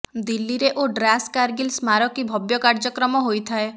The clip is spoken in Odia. ଦିଲ୍ଲୀରେ ଓ ଡ୍ରାସ କାରଗିଲ ସ୍ମାରକୀ ଭବ୍ୟ କାର୍ଯ୍ୟକ୍ରମ ହୋଇଥାଏ